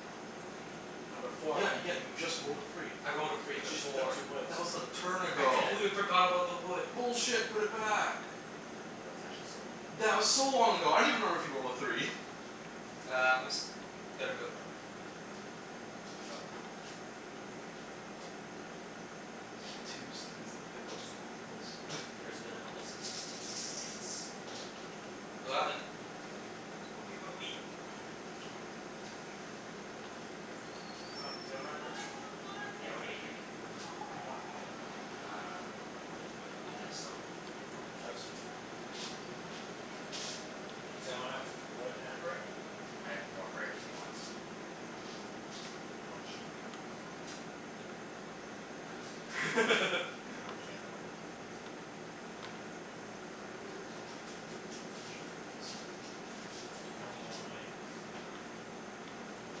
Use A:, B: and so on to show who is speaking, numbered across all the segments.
A: No, three.
B: No, before
C: Yeah yeah, you just rolled a three.
A: I rolled a
B: But
A: free
B: you just picked up
A: before.
B: two woods.
C: That was a turn
A: I
C: ago.
D: Yeah.
A: completely forgot about the wood.
C: Bullshit. Put it back.
D: Yo, that's actually so long ago.
C: That was so long ago. I don't even remember if you rolled a three.
A: Uh, I'm s- gonna build a road. Go.
C: Twos, threes and tens. This game is bullshit.
D: There's been a couple sixes, twos and eights.
A: Eleven.
C: I can work with that.
B: Um, does anyone have brick?
C: I do.
D: Yeah, what are you
C: What
D: gonna
C: do you
D: give me?
C: need?
B: What do you want?
D: Uh, wood wha- do you have stone?
C: I have stone.
B: Does anyone have wood and brick?
D: I have more brick if you want?
B: Do you want sheep?
D: Nah, it's okay.
B: Okay. I'm just gonna build a road.
C: Which way are you going this time?
B: I can only go one way. Only one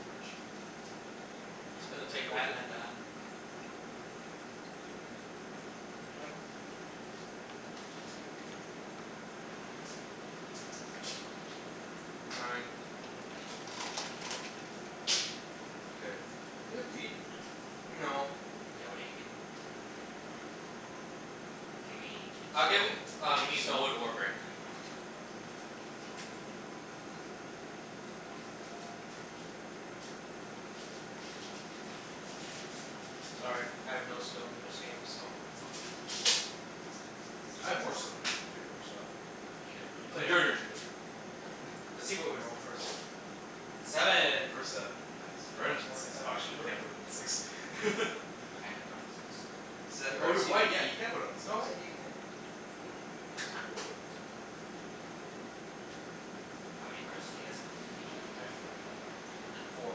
B: direction.
A: Just gonna take
C: One
A: that
C: dir-
A: and that.
B: Go ahead.
D: Chancey.
A: Nine.
C: K, do you have wheat?
A: No.
D: Yeah, what are you gonna give me?
C: What do you need?
D: Gimme
A: I'll give
C: Stone?
A: i- uh,
D: Gimme
A: stone.
D: wood or brick. Oh.
C: Thank you Mat.
A: Sorry, I have no stone in this game, so
D: It's all good.
C: I have more stone if you can trade me more stuff.
D: You got yo-
C: Y- your
A: Later.
C: turn, your turn.
A: Let's see what we roll, first.
C: Seven.
A: Seven.
C: First seven. Nice.
B: Anyone
C: Right
B: have
C: onto the
B: more than
C: six. Oh,
B: seven?
C: actually no, you
A: We're
C: can't put it on six.
D: Why can't I put it on the six?
C: Oh, you're white. Yeah, you can put it on the six.
A: Oh wait, you can.
C: This'll do it.
D: How many cards do you guys have?
C: Two.
B: I have three.
D: Three?
A: Four.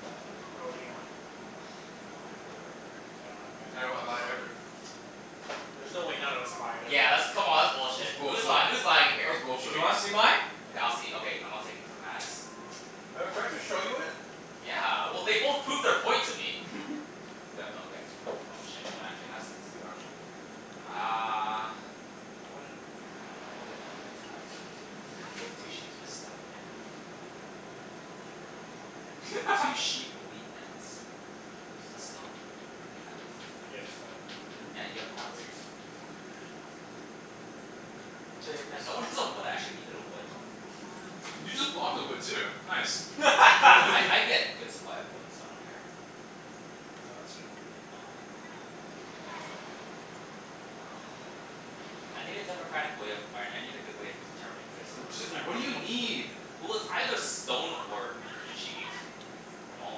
B: I don't, well, what do you want?
D: Kinda want a wood or a brick.
B: I don't have either.
A: I don't
C: I
A: have
C: don't have
A: either.
C: either.
B: There's no way none of us have either.
D: Yeah, that's, come on, that's
C: That's
D: bullshit. Who's lying?
C: bullshit.
D: Who's lying here?
C: That's
A: Do you
C: bullshit.
A: wanna see mine?
D: Okay, I'll see, okay, I'm not taking from Mat's.
B: Oh, do I have to show you it?
D: Yeah, well, they both proved their point to me.
C: Yeah, nobody has
D: Okay.
C: them.
D: Oh shit, no one actually has it.
C: What do you actually want then?
D: Uh Hmm, I wouldn't, well, now I know all what all you guys have. Two sheep and a stone. You have like, a I can't remember off the top of my head, but you have two sheep, a wheat, and a stone.
B: Stone.
D: You have
B: He has a stone.
D: have, yeah, you have a
B: At
D: ones
B: least.
A: Takers.
D: Damn, no one has a wood. I actually needed a wood.
C: You just blocked the wood, too. Nice.
D: Well I I get good supply of wood, so I don't care.
C: Ah, that's true.
D: Um I need a democratic way of, all right, I need a good way of determining who to steal
C: Oh
D: from,
C: just
D: cuz I
C: wh-
D: re- I
C: what do you
D: really don't
C: need?
D: Well, it's either stone or or sheep. From all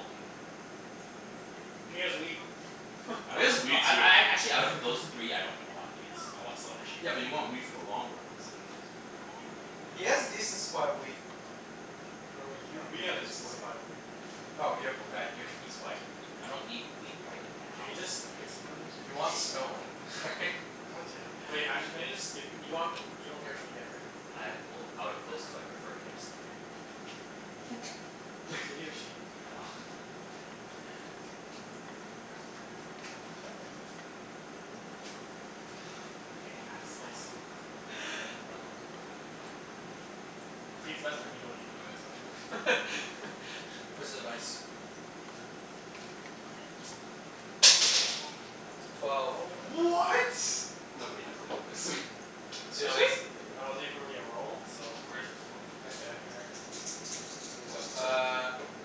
D: of you.
C: Well, do you have like, a
B: He
C: good
B: has
C: chance of
B: wheat.
C: like
D: I
C: It
D: don't,
C: is
D: no,
C: wheat,
D: I
C: too.
D: I a- actually out of those three, I don't know on wheat. I want stone or sheep.
C: Yeah, but you want wheat for the long run cuz nobody has really, nobody really
A: He
C: has
A: has
C: wheat.
A: decent supply of wheat.
B: No, you,
C: No,
B: we
C: he
B: have a
C: has
B: decent
C: white.
B: supply of wheat.
A: Oh y- p- uh, y- he's white.
D: I don't need wheat right
B: Can you
D: now,
B: just
D: though.
B: pick someone?
A: If you want
B: Let's move
A: stone
B: on. God damn. Wait, actually can you just give you, you want, you don't care which one you get, right?
D: I, well, out of those two I prefer to get a stone.
B: Oh, okay. Can I just give you a sheep?
D: No. My ass
B: It's
D: off.
B: nice.
D: Oh my god, fine.
B: See, it's best when you don't even know what's going on.
A: Where's the dice?
B: That wasn't really a
A: Twelve.
B: roll, but
C: What? Nobody has it anyways.
B: But that
A: Seriously?
B: wasn't,
C: Yeah,
B: that wasn't
C: nobody
B: even
C: has it.
B: really a roll, so
D: Where is the twelve?
C: Oh,
D: Oh, it's
B: Right
A: Right
C: it's over
A: there.
D: over
C: there.
D: there.
B: there.
A: Go. Uh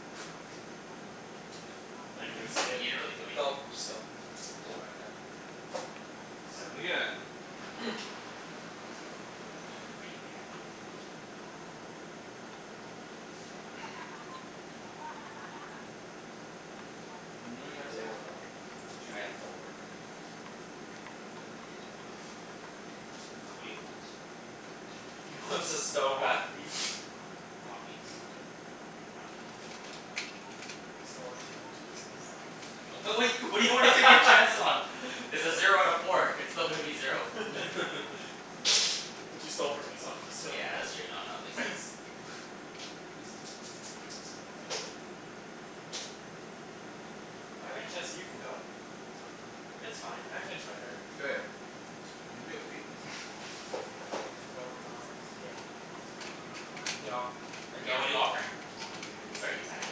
B: I didn't even see
D: You
B: it.
D: didn't really do anything.
A: Go. Just go. I'm just buying that.
C: Seven
D: Seven.
C: again.
D: You gonna take from me? Are you mad?
B: How many
C: Me
B: cards do you have?
C: or Alvin. Two.
D: I have four.
C: Oh, fuck.
D: What do you want?
A: He wants his
B: I
A: stone back.
B: want wheat.
D: You want wheat?
B: Yeah.
D: I don't have wheat.
B: I just don't wanna take my chances.
D: Okay. W- what what do you want to take your chances on? It's a zero out of four. It's still gonna be zero.
B: But you stole from me so I'm gonna steal from
D: Yeah, that's true. No,
B: you.
D: no, it makes sense. Five?
B: Chancey, you can go. It's fine. I finished my turn.
C: K, anybody have wheat?
B: No, no one has, he has wheat.
A: No, I
D: Yeah.
A: don't.
D: What are you offering?
C: What do you
D: Sorry
C: need?
D: Ibs, I had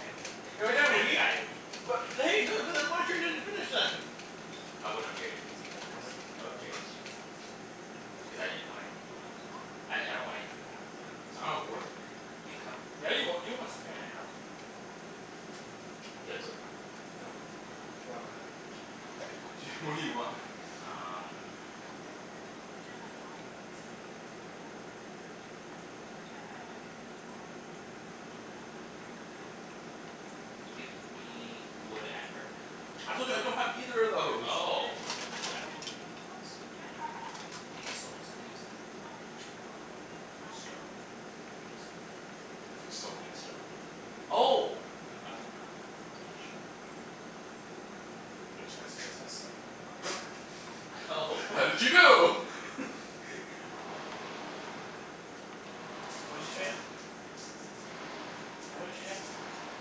D: I had wheat.
B: You have a
D: I
B: wheat?
D: had wheat.
B: What
D: I wouldn't have traded it to you
B: Oh
D: anyways.
B: fine,
D: I would've
B: whatever.
D: traded to Chancey.
C: What do you, what do
D: Cuz I
C: you
D: didn't
C: want for it?
D: want anything you wanted, uh I I don't want anything you have, sorry.
C: I don't
D: Um
C: have wood.
D: you have
B: Yeah, you wa- you want something I have.
D: You had wood?
B: No. You
D: Oh.
B: want my other thing.
C: K, what did you, what do you want?
D: Um Give me wood and brick.
C: I told you I don't have either of those!
D: Oh, well I don't really need s- give me stone and something else then.
C: Um, I'll give you stone.
D: Okay, sorry. No, then.
C: Like, stone and stone.
D: Oh! Um Yeah, sure.
B: I think Chancey just has stone.
D: Oh.
C: How did you know?
B: What did you trade him?
D: Don't worry about it. Nah,
B: Tell me what
D: it's
B: you traded?
D: wheat. It's wheat.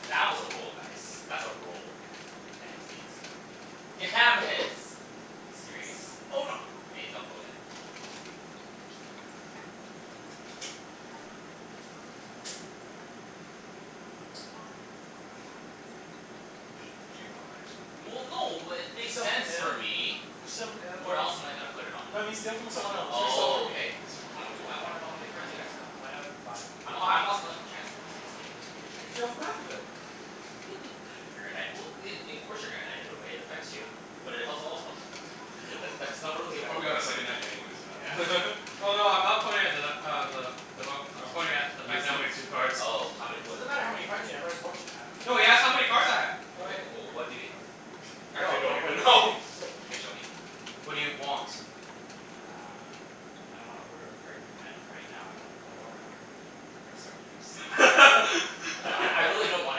D: See that was a roll, guys. That's a roll. And it was eight.
C: God damn it.
D: Damn it. You serious?
A: Hold on.
D: Hey, don't go yet.
B: Mm. Could you not?
C: there.
D: Well, no, it
B: Can you
D: makes
B: steal from
D: sense for
B: him?
D: me.
B: Can you steal from him?
D: Where else am I gonna put it on?
B: No, but steal from someone else. Don't steal
D: Oh,
B: from me.
D: okay. How m- I wanna know how many cards you guys have.
B: I have five.
C: Three.
D: I'm h- I'm not stealing from Chancey cuz he just gave me a pretty good trade.
B: Steal from Mathew, then.
D: If you're gonna knight, well y- i- of course you're gonna knight it away. It affects you. But it helps all of them. But that's not really a
C: He'll
D: bad
C: probably got a second
D: argument.
C: knight anyways,
D: Yeah.
C: man.
A: Oh, no, I'm not pointing at the nut uh, the I'm pointing at the fact that I only have two cards.
C: three
D: Oh. How many
B: It
D: what i-
B: doesn't matter
C: cards.
B: how many cards
D: w-
B: you have, it's what you have.
A: No, he asked how many cards I had.
D: Okay,
B: Okay.
D: o- oh what do you have?
A: Actually,
B: No,
A: I don't
B: don't play
A: even
B: this
A: know.
B: game.
D: You gonna show me?
A: What do you want?
D: Uh I don't want a wood or a brick, at right now I'd wa-
B: Oh, I
D: a
B: don't
D: wood or a
B: have
D: brick.
B: wood.
D: Okay, sorry Ibs.
B: I
D: I'd
B: don't
D: I I
B: have
D: really
B: wood.
D: don't want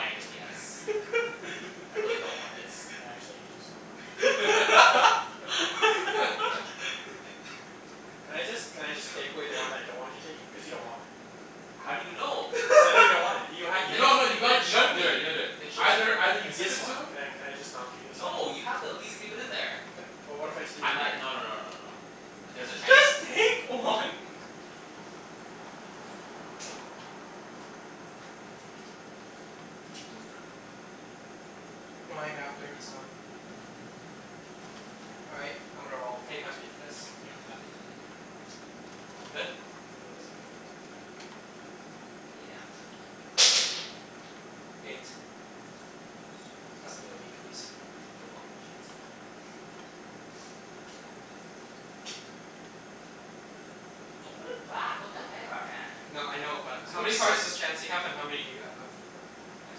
D: anything he has. I really don't want its.
B: I actually hate you so much. Can I just, can I just take away the one that I don't want you to take? Cuz you don't want it.
D: How do you know?
B: Cuz I know you don't want it. You
D: You
B: had,
D: did
B: you
D: did
C: No no,
B: just
C: you
D: you
C: gotta
D: didn't
C: you
D: show
C: gotta
D: me.
C: do it. You gotta do it.
D: Then show me.
C: Either either you
B: It's
C: give
B: this
C: it to
B: one.
C: him
B: Can I can I just not give you this one?
D: No, you have to at least leave it in there.
B: Ca- but what if I just leave
D: I
B: it
D: mi-
B: here?
D: no no no no no no. There's a chance I
A: Just take one.
C: Whose turn is it, by the way?
A: Mine, after he's done. All right. I'm gonna roll. Can you pass me the dice?
B: I'm okay with that.
A: You good?
C: You good?
D: Yeah, I'm good.
A: Eight.
C: Yes.
A: Pass me a wheat please?
D: You're welcome, Chancey.
C: Thank you.
D: Don't put it back.
C: You
D: What the
C: put
D: heck,
C: back, man.
D: man?
A: No, I know, but
C: There's
A: how
C: no
A: many cards
C: excite-
A: does Chancey
C: I
A: have and how many do you have?
C: I have four.
D: I have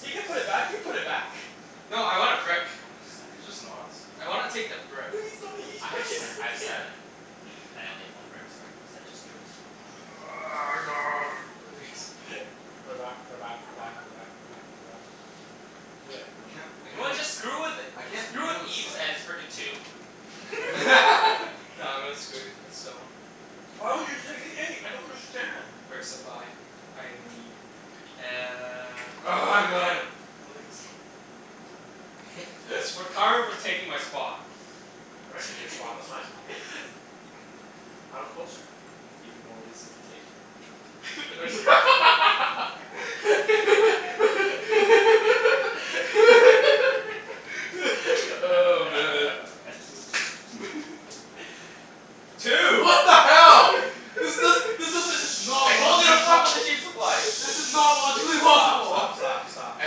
B: He
D: six.
B: can put it back. You put it back.
A: No, I want a
D: can
A: brick.
D: I have seven?
C: It's just not as
A: I
C: fun.
A: wanna take the brick.
D: I had s- I have seven. I only have one brick, sorry, cuz I just drew it.
C: God
B: Put it back. Put it back. Put it back. Put it back. Put it back. Put it back. Do it.
C: I I can't I
D: You know
C: can't
D: what?
C: like
D: Just screw with it.
C: I can't
D: Screw
C: leave
D: with
C: on this
D: Ibs
C: side.
D: and his frickin' two.
A: Nah, I'm gonna screw with the stone.
B: I don't understand.
A: Brick supply. I am in need. Uh
C: Oh my god, my legs.
A: It's for karma for taking my spot.
B: I didn't take your spot. That's my spot. I was closer.
A: Even more reason to take it.
C: Oh, man.
A: Two!
C: What the hell? This does,
B: Shh. Shh.
C: this doesn't it's not
D: I told you to fuck with the sheep supply!
C: This is not logically possible.
B: Stop, stop, stop, stop, stop.
D: I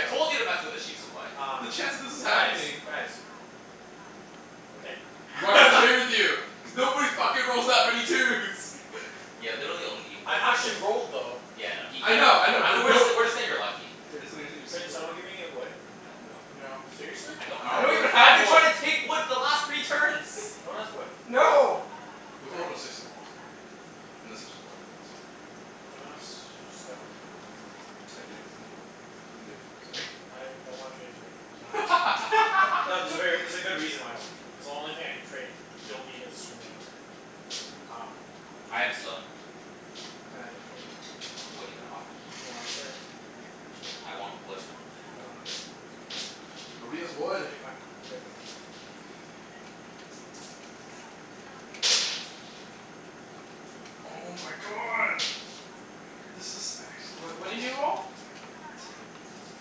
D: told you to mess with the sheep supply.
B: Um,
C: The chance that this is
B: guys,
C: happening.
B: guys. Okay.
C: I'm not gonna play with you. Cuz nobody fucking rolls that many twos!
D: Yeah, literally only you've rolled
B: I
D: twos.
B: actually rolled, though.
D: Yeah, I know. He,
C: I know,
D: yeah
C: I know,
D: I know
C: but
D: we're
C: no
D: jus- we're just saying you're lucky.
C: Yeah, just we're saying you're
B: Can
C: super
B: someone
C: lucky.
B: give me a wood?
D: No.
C: No.
A: No.
B: Seriously?
D: I
C: I don't
D: don't
A: I
D: have
C: have
A: don't
D: wood.
A: even
C: wood.
D: I've
A: have
D: been
A: wood.
D: trying to take wood the last three turns.
B: No one has wood?
C: No.
A: No!
C: We haven't rolled a six in a long time. And the six was blocked the last time.
B: Do you want a s- stone?
C: I do. What do you want? Can you give? Sorry.
B: I don't wanna trade it to you right now. Not No, there's a ver- there's a good reason why I don't wanna trade. Cuz the only thing I can trade, you'll need it to screw me over. Um
D: I have a stone.
B: Can I trade you?
D: What are you gonna offer?
B: You want a brick.
D: I want wood.
B: I don't have wood.
C: Nobody has wood.
B: Okay fine, I'm good.
D: Okay.
C: Oh
D: Ten.
C: my god!
D: So much brick.
C: This is actually
A: What what did
C: bullshit.
A: you roll?
C: A ten.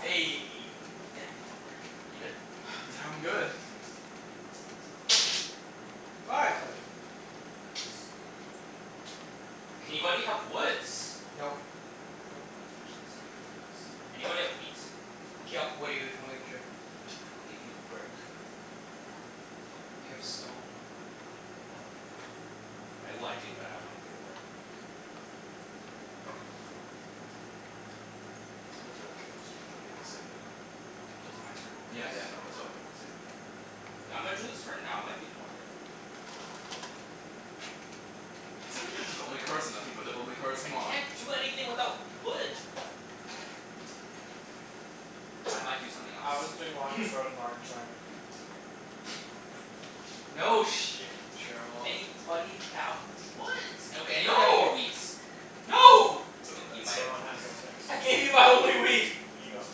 A: Eh, hand me that brick.
D: You good?
C: Yeah, I'm good.
A: Five.
C: Five.
D: Anybody have woods?
A: Nope.
B: Nope.
D: Actually, this is ridiculous. Anybody have wheat?
A: K, yep. What are you t- willing to trade?
D: I'll give you brick.
A: Do you have stone?
D: No. I, well, I do, but I don't wanna give it away.
C: It's worth in a trade for stone, but I didn't wanna say anything.
D: Well, it's my turn anyways.
C: Yeah,
A: Yes.
C: yeah, no. That's why I didn't wanna say anything.
D: K, I'm gonna do this for now. I might do more later. Uh.
C: Does somebody have
D: Ah,
C: development cards and
D: shit.
C: nothing but development cards?
D: I
C: Come on.
D: can't do anything without wood. I might do something else.
B: Alvin's doing army.
A: No shit, Sherlock.
D: Anybody have woods? Okay, anybody have more
A: No!
D: wheats?
A: No!
D: But you might
B: No
D: have
B: one
D: more wheat.
B: has those things.
A: I gave you my only wheat.
D: Aw,
B: Can you go?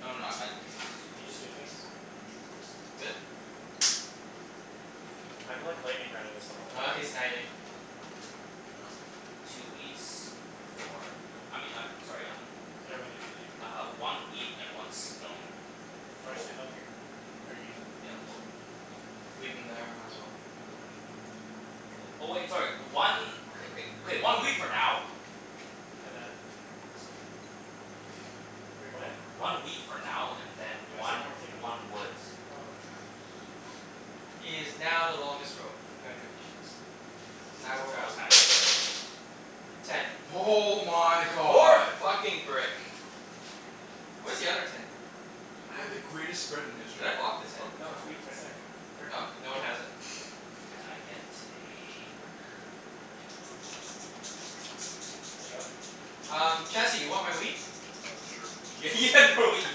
D: no no, I might
B: Can you just do things?
A: Good?
B: I've been like lightning rounding this the whole
A: Ah,
B: entire
D: No,
A: he's
D: no,
B: game.
A: knighting.
D: I'm not knighting.
A: Oh.
D: Two wheats for I mean I, sorry, um
B: leave it
D: Uh,
B: here?
D: one wheat and one stone
B: Do you wanna just
D: fo-
B: leave them here? Or you need them?
D: Yeah,
B: Just
D: well
B: leave them?
A: Leave them there. Might as well.
C: Wait, what would you do?
D: Oh, oh wait, sorry. One Okay, okay. Okay, one wheat for now.
B: And then?
D: So
B: Wait, what?
D: One wheat for now and then
B: You have to take one
D: one
B: more thing, though.
D: one wood.
B: Oh, okay.
A: He is now the longest road. Congratulations. And I will
D: Sorry, I was
A: roll.
D: kinda brain farting.
A: Ten.
C: Oh my
A: More
C: god!
A: fucking brick. Where's the other ten?
C: I had the
B: Wheat.
D: Ah
C: greatest spread in
A: Should
C: history
A: I
C: and
A: block
C: then
A: the
C: this
A: ten?
C: fucking
B: No, it's
A: Oh.
B: wheat
C: happens.
B: right there. It's right in
A: Oh,
B: front of
A: no
B: you.
A: one has it.
D: And I get a brick. No.
B: Can I go?
A: Um,
C: Mhm.
A: Chancey? You want my wheat?
C: Uh, sure.
D: Y-
C: You
D: you
C: want stone?
D: had more wheat, you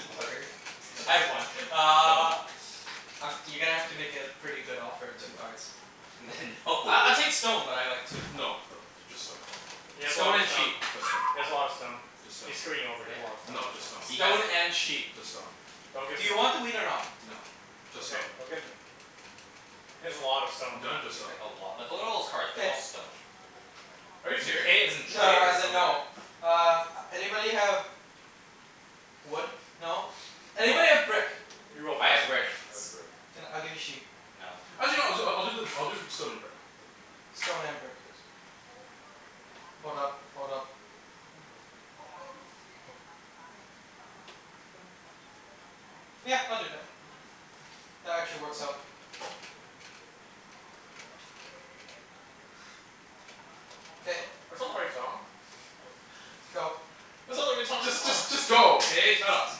D: fucker.
C: Want
A: I
C: stone?
A: had one.
C: Stone?
A: Uh Um, you're gonna have to make it a pretty good offer at two
C: Then no.
A: cards.
D: Then no.
A: I I'll take stone, but I like two.
C: No no, th- just stone.
B: He has a lot
A: Stone
B: of
A: and
B: stone.
A: sheep.
C: Just stone.
B: He has a lot of stone.
C: Just stone.
B: He's screwing you over. He has a lot
D: Yeah.
B: of stone.
C: No, just stone.
D: He has
A: Stone
D: a l-
A: and sheep.
C: Just stone.
B: Don't give
A: Do
B: him
A: you
B: it.
A: want the wheat or no?
C: No. Just
B: Okay.
C: stone.
B: Don't give him it. He has a lot of stone.
D: He
C: No, just
D: has like
C: stone.
D: a lot. Like what are all those cards? They're
A: K.
D: all stone.
B: Are you
C: Is it "k" as
B: serious?
C: in
A: No no,
C: trade, or
A: as in
C: no
A: no.
C: k?
A: Uh, anybody have wood? No?
D: No.
A: Anybody have brick?
B: You will
D: I
B: find
D: have brick.
B: someone.
C: I have brick.
A: Can, I'll give you sheep.
D: No.
C: Actually no, I'll do I I'll do the I'll do stone and brick.
A: Stone and brick.
C: Yes. That's
A: Hold up.
C: right.
A: Hold up.
C: Hold up.
A: Yeah, I'll do that. That actually works out.
B: That's
A: K.
B: not, that's not the right song.
A: Go.
B: That's not the right song at
C: Just
B: all.
C: just just go, okay? Shut up.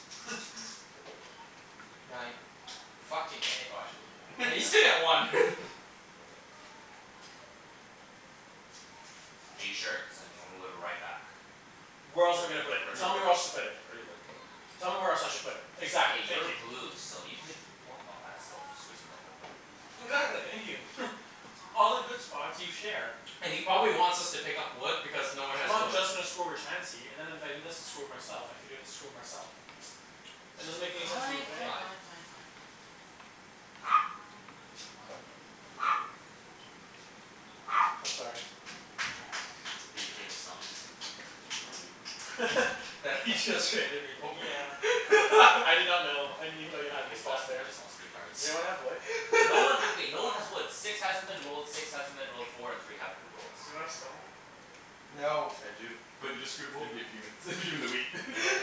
A: Nine.
C: Nine.
A: Fucking eh.
C: Oh actually no, never
A: Yeah, you still get one.
C: mind.
D: Are you sure? Cuz I'm gonna move it right back.
B: Where else am I
C: K.
B: gonna put
C: You
B: it? Tell me
C: already
B: where else
C: let
B: to put
C: You
B: it.
C: already let go of it.
B: Tell me where else I should put it?
D: K,
B: Exactly. Thank
D: you're
B: you.
D: blue so you could block, oh that still f- screws me over but
B: Exactly. Thank you. All the good spots, you share.
A: And he probably wants us to pick up wood because no one
B: I'm
A: has
B: not
A: wood.
B: just gonna screw over Chancey and then if I do this I screw with myself and if I do this, I screw with myself. It doesn't
D: Fine,
B: make any sense for me to
D: fine,
B: put
D: fine,
A: Five.
B: anywhere.
D: fine, fine, fine, fine.
C: Yep, okay.
B: I'm sorry.
D: Did you take his stone?
C: Just my wheat.
A: That he just traded me for.
B: Yeah. I did not know. I didn't even know you had
D: You just lost
B: that
D: thr- you
B: there.
D: just lost three cards.
B: Does anyone have wood?
D: No one ha- okay, no one has woods. Six hasn't been rolled, six hasn't been rolled, four and three haven't been rolled.
B: Does anyone have stone?
A: No.
C: I do.
D: But you just screwed
C: If
D: him over.
C: if you gimme the gimme the wheat.
B: No.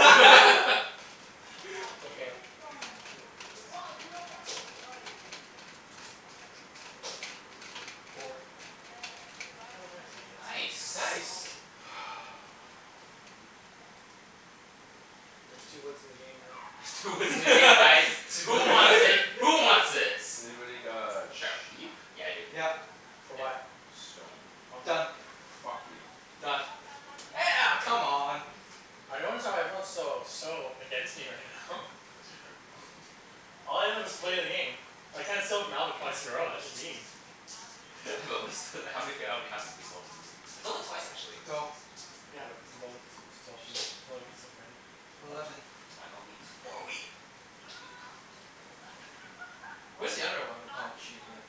B: Go
D: You good?
B: for it.
C: Yeah, I'm good. Pass.
A: Four.
B: Oh, nice. I get
D: Nice.
B: something.
A: Nice.
C: What am I gonna do now?
B: There's two woods in the game now.
D: There's two woods in the game, guys! Who wants
A: Two
D: it? Who wants its?
C: Anybody got sheep?
D: Yeah, I do.
A: Yep.
B: For
D: Yep.
B: what?
C: Stone.
B: I'll do
A: Done.
B: it.
C: Fuck you.
A: Done. Eh a- come on!
B: I notice how everyone's so so against me right now.
C: Pass me a card.
B: All I did was play a game. I can't steal off Alvin twice in a row. That's just mean.
D: But we sto- how many f- how many times have we stole from you? It's only twice, actually.
A: Go.
B: Yeah, but you both stole from me. Even though you could steal from anyone.
A: Eleven.
D: Eleven. Oh, I got wheat.
A: More wheat. Where's the other eleven? Oh, sheep, yeah.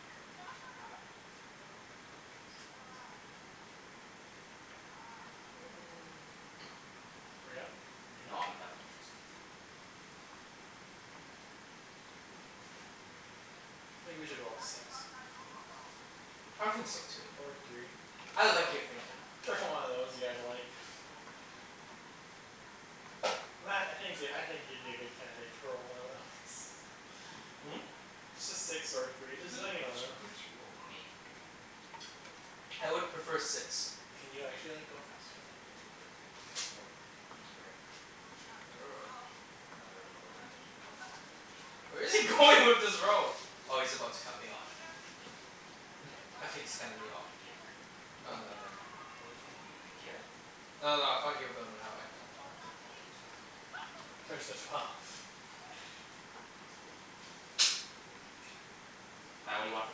B: Are you done? Are you gonna
D: No,
B: do anything?
D: I'm go- definitely gonna do stuff.
B: I think we should roll a six.
A: I think so, too.
B: Or a three.
A: I like your thinking.
B: Whichever one of those you guys like. Mat, I think you could, I think you'd be a good candidate to roll one of those.
A: Hmm?
B: Just a six or a three. Just
C: Who j- who
B: any one of
C: jus- who
B: those.
C: just rolled?
D: Me.
C: Oh.
A: I would prefer six.
B: Can you actually like, go faster, though?
D: K. Wood and brick. For another road.
A: Where is he going with this road? Oh, he's about to cut me off. I think he's cutting me off here.
D: Here?
A: Oh no, never mind.
D: No. W- what do you mean? Like, here?
A: No, no, I thought you were building that way.
D: No, why would I build that way? There's nothing there.
B: There's the twelve.
D: No. Mat, what do you want for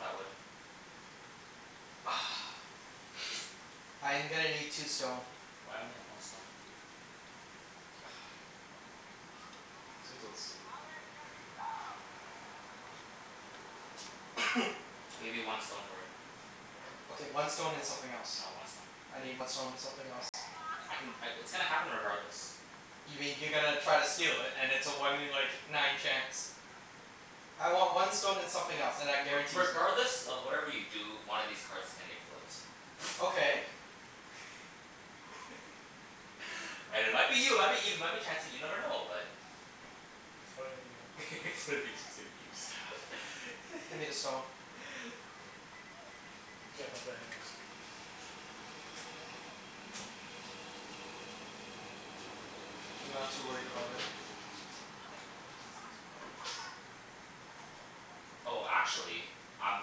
D: that wood?
A: I'm gonna need two stone.
D: Well I only have one stone.
A: Come on.
C: He's gonna build a city. Don't trade him.
D: I'll give you one stone for it.
A: Okay, one stone and something else.
D: No, one stone.
A: I need one stone and something else.
D: I can c- w- it's gonna happen regardless.
A: You mean you're gonna try to steal it and it's a one in like, nine chance. I want one stone and something else, and
D: I-
A: I
D: re-
A: guarantee you
D: regardless of whatever you do, one of these cards is gonna get flipped.
A: Okay.
D: And it might be you, it might be Ibs, it might be Chancey, you never know. But
B: It's probably gonna be me.
D: It's gonna be, it's gonna be Ibs.
A: Ah, fine. Give me the stone.
B: You can't flip it anyways.
A: I'm not too worried about it.
C: Elevens and twelves.
D: Oh, actually I'm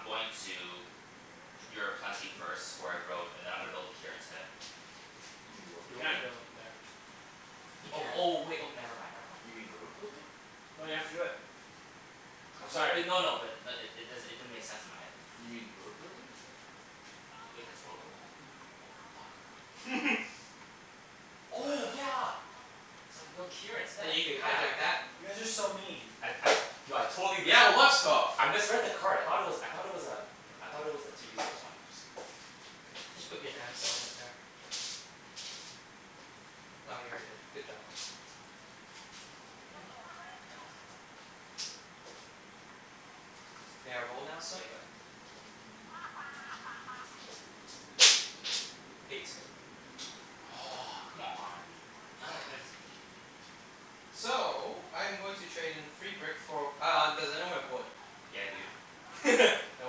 D: going to you're a plenty first for a road, and then I'm gonna build it here instead.
C: You mean road
B: You can't
C: building?
B: build it there.
A: You
D: Oh,
A: can't.
D: oh wait, oh never mind, never mind.
C: You mean
D: Fuck.
C: road
D: Fuck.
C: building?
B: No, you have to do it. I'm
D: No b-
B: sorry.
D: no no, but i- n- it does'n- it didn't make sense in my head.
C: You mean road building?
D: Th- wait, that's road building?
C: Yeah.
D: Oh fuck. Oh yeah! So I can build it here instead.
A: You can
D: Yeah.
A: hijack that.
B: You guys are so mean.
D: I'd I du- I totally missed
C: Yeah, well,
D: it.
C: that's tough.
D: I misread the card. I thought it was, I thought it was um I thought it was a two resource one.
C: Just go.
A: Just put your damn settlement there. Oh, you already did. Good job.
C: Thank you.
A: May I roll now, sir?
D: Yeah, go ahead.
A: K. Eight.
C: Oh fuck.
D: Aw, come on.
B: Oh, nice.
A: So, I'm going to trade in free brick for uh, does anyone have wood?
D: Yeah dude.
C: No.
A: No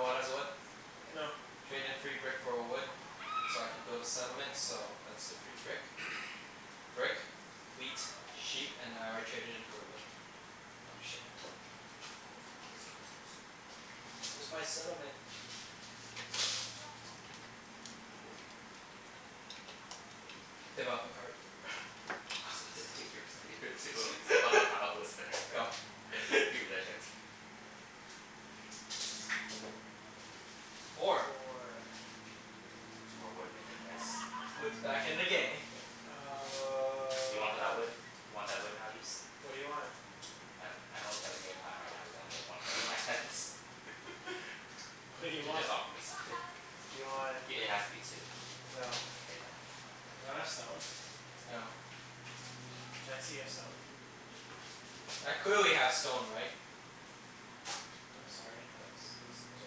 A: one has wood? K.
B: No.
A: Trade in free brick for a wood so I can build a settlement so that's the free brick. Brick, wheat, sheep, and I already traded in for the wood. Oh, shit.
D: How come these cards look so
A: Where's my settlement? Boom. Development card.
D: I was about to take yours and give it to him cuz I thought the pile was there.
A: Go.
D: Give me that Chancey.
A: Four.
B: Four.
D: There's more wood in the game, guys.
A: Wood's back in the game.
D: What do you want for that wood?
B: Um
D: You want that wood now, Ibs?
B: What do you want?
D: I I don't really have a game plan right now cuz I only have one card in my hands.
B: What do you
D: J- just
B: want?
D: offer me something.
B: Do you want
D: I- it has to be two.
B: No.
D: Okay then, no.
B: Does anyone have stone?
A: No.
B: Chancey, you have stone?
C: No.
A: I clearly have stone, right?
B: I'm sorry, that was, it was it was a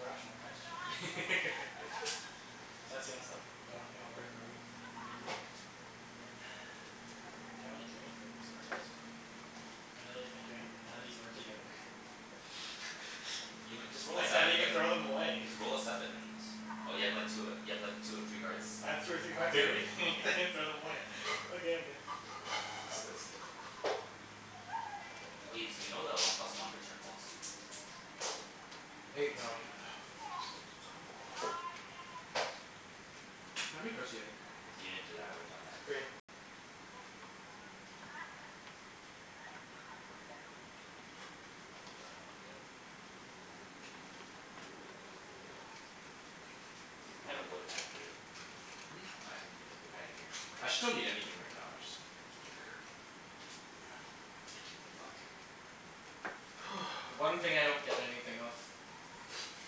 B: rational question. Chancey, you got stone? You want you
C: Nope.
B: want brick or wheat?
C: Nope.
B: I can't really do anything with these cards. I literally can't do anything. None of these work together.
D: You know, just roll
B: I
D: a
B: can't
D: seven, you
B: even
D: get
B: throw
D: w-
B: them away.
D: Just roll a seven and Oh, you have like two of ev- you have like two of three cards?
B: I have two or three cards of everything. I can't even throw them away. Okay, I'm good.
C: Pass the dice then.
D: Oh, Ibs, do you know the one plus one return policy?
A: Eight.
B: No.
C: For fuck's sakes.
D: Come on. Mm.
C: How many cards do you have in your hand?
D: If you didn't do that I would've done that.
A: Three.
C: Three? All right, gimme a card.
D: I had a wood if you wanted it.
C: Hmm?
D: I
C: No,
D: ha-
C: I didn't need a wood.
D: I had a guaranteed
C: I
D: wood.
C: actually don't need anything right now. I just don't care.
A: Fuck. The one thing I don't get anything of.